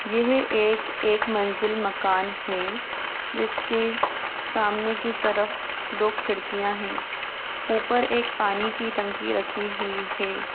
यह एक-एक मंजिला मकान है जिसके सामने की तरफ दो खिड़कियां है ऊपर एक पानी की टंकी रखी हुई है।